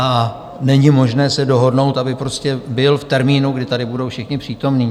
A není možné se dohodnout, aby prostě byl v termínu, kdy tady budou všichni přítomní?